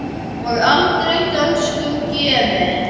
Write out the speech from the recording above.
og aldrei dönskum gefin!